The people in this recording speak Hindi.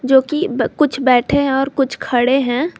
जोकि ब कुछ बैठे हैं और कुछ खड़े हैं।